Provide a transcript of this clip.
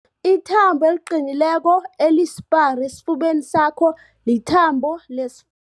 Ithambo eliqinileko elisipara esifubeni sakho lithambo les